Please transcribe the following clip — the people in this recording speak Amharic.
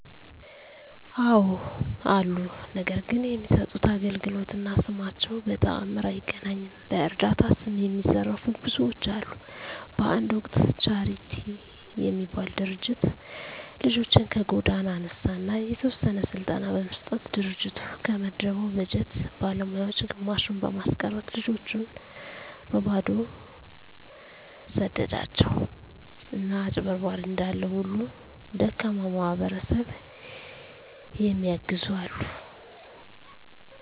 አወ አሉ። ነገር ግን የሚሠጡት አገልግሎት እና ስማቸው በተአምር አይገናኝም። በዕረዳታ ስም የሚዘርፉ ብዙዎች አሉ። በአንድ ወቅት ቻረቲ የሚባል ድርጅት ልጆችን ከጎዳና አነሣ አና የተወሰነ ስልጠና በመስጠት ድርጅቱ ከመደበው በጀት ባለሞያወች ግማሹን በማስቀረት ልጆችን በበባዶው ሰደዷቸው። አና አጭበርባሪ እንዳለ ሁሉ ደካማ ማሕበረሰብ የሚየግዙ አሉ።